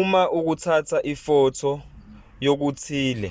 uma ukuthatha ifotho yokuthile